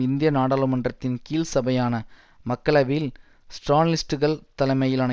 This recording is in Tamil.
இந்திய நாடாளுமன்றத்தின் கீழ்சபையான மக்களவையில் ஸ்ராலினிஸ்டுகள் தலைமையிலான